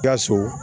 Ka so